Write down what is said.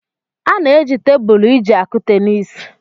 A na-eji tebụlụ iji akụ tenis.